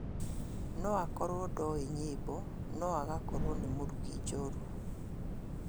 Noakorwo ndoĩ nyĩmbo noagakorwo nĩ mũrugi njorua